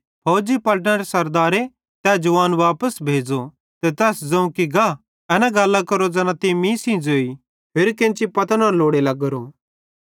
फौजी पलटनरे सरदारे तै जवान वापस भेज़ो ते तैस ज़ोवं कि गा एना गल्लां केरो ज़ैना तीं मीं सेइं ज़ोई होरि केन्ची पतो न लोड़ी लग्गोरो